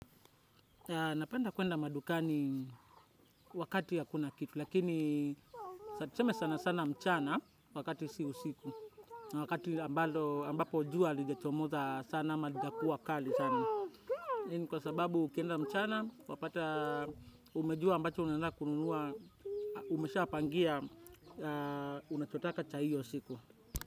Napenda kwenda madukani wakati hakuna kitu, lakini tuseme sana sana mchana wakati si usiku. Wakati ambapo jua halijachomoza sana ama likakuwa kali sana. Hii ni kwa sababu ukienda mchana, wapata umejua ambacho unaenda kununua, umeshapangia, unachotaka cha hio siku.